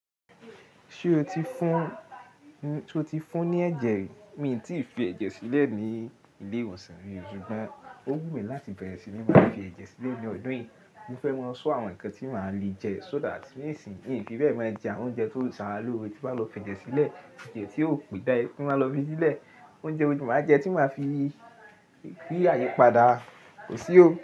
Ṣé o ti fún- ṣé o ti fún ní ẹ̀jẹ̀ rí? Mi ò tí ì fi ẹ̀jẹ̀ sílẹ̀ ní ilé ìwòsàn rí, ṣùgbọ́n ó wù mí láti bẹ̀rẹ̀ sí ní máa fi ẹ̀jẹ̀ sílẹ̀ ní ọdún yìí. Mo fẹ́ máa sọ àwọn nǹkan tí màá lè jẹ so that nísìn mi fi bẹ́ jẹ àwọn oúnjẹ tó ń ṣe ara lo re, tí n bá lọ fi ẹ̀jẹ̀ sílẹ̀, èyí tí ó pé, tí n bá lọ fi sílẹ̀. Oúnjẹ wo ni màá jẹ tí màá fi, ri àyipadà. Ko ṣi ó.